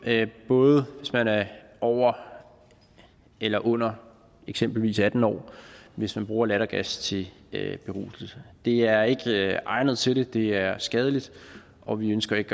både hvis man er over eller under eksempelvis atten år hvis man bruger lattergas til beruselse det er ikke egnet til det det er skadeligt og vi ønsker ikke